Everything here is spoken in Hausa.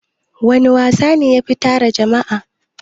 Wana wasa ne yafi tara jama'a?